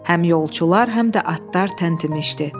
Həm yolçular, həm də atlar təntimişdi.